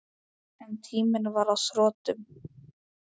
En tíminn var á þrotum.